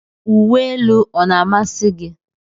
Uwe elu ọ na-amasị gị?